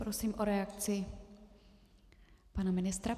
Prosím o reakci pana ministra.